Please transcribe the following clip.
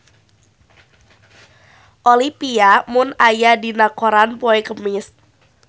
Olivia Munn aya dina koran poe Kemis